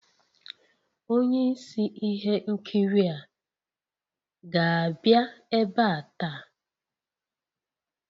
Onye isi ihe nkiri a ga-abịa ebe a taa?